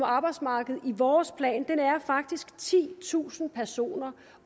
arbejdsmarkedet i vores plan er faktisk titusind personer